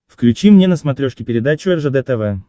включи мне на смотрешке передачу ржд тв